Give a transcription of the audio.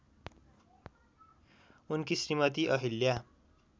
उनकी श्रीमती अहिल्या